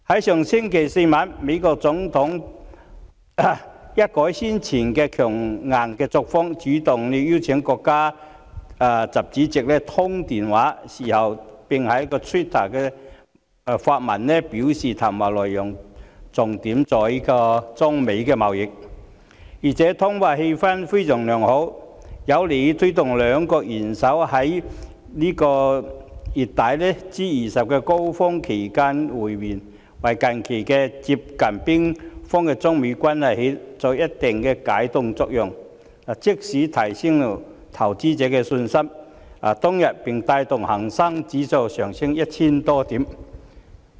上星期四晚上，美國總統一改先前的強硬作風，主動邀請國家主席習近平通電話，事後還在 Twitter 發文，表示談話內容重點在於中美貿易，而且通話氣氛非常良好，有利推動兩國元首在本月底 G20 峰會期間會面，為近期接近冰封的中美關係發揮一定的解凍作用，即時提升投資者的信心，當天更帶動恒生指數上升 1,000 多點。